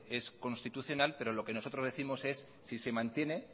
es constitucional pero lo que nosotros décimos es si se mantiene